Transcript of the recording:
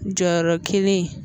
Jɔyɔrɔ kelen in